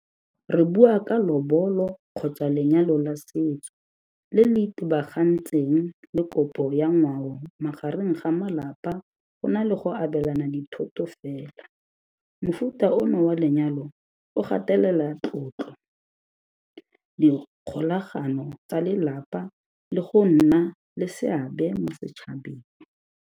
Re bua ka kgotsa lenyalo la setso le le itebagantseng le kopo ya ngwao magareng ga malapa go na le go abelana dithoto fela. Mofuta ono wa lenyalo o gatelela tlotlo kgolagano tsa lelapa le go nna le seabe mo setšhabeng.